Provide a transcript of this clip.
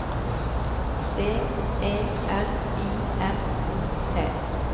D E R I M O T